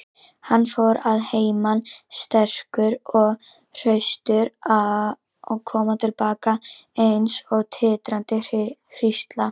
Hann fór að heiman sterkur og hraustur og kom til baka eins og titrandi hrísla.